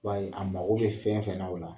I b'a ye a mago bɛ fɛn fɛn na o la